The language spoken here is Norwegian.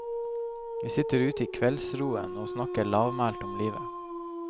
Vi sitter ute i kveldsroen og snakker lavmælt om livet.